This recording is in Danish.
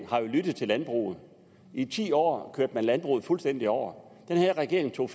har lyttet til landbruget i ti år kørte man landbruget fuldstændig over den her regering tog